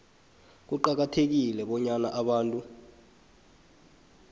kuqakathekile bonyana abantu